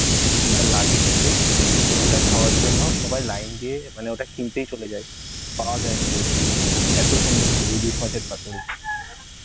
উফ যা লাগে খেতে ওটা খাওয়ার জন্য সবাই line দিয়ে মানে ওটা কিনতেই চলে যায়, পাওয়া জানা রোধ এ, এত সুন্দর করে ইলিশ মাছের পাতুরি